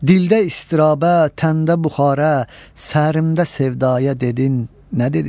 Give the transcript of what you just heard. Dildə ıstırabə, təndə buxare, sərimdə sevdaya dedin nə dedi?